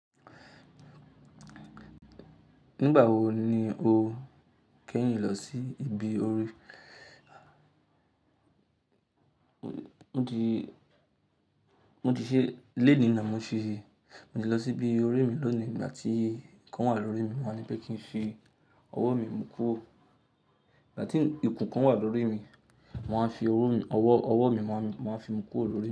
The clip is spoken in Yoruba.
Nígbà wo ni o kẹ́yìn lọ sí ibi orí? Mo ti, mo ti ṣe, léni ni mo ṣe, mo ti lọ sí ibi oré mi lónìí. Ìgbà tí ikùn wà lórí mi, mo máa ń pẹ́ kí n fi ọwọ́ mi mú kúrò. Ìgbà tí ikùn kan wà lórí mi, mo wáa ń fi ọwọ́ mi ọwọ́ mi máa ń, máa ń fi mú kúrò lórí mi.